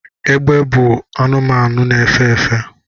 egbe bu anumanu na-efe efe